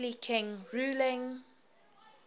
earthly king ruling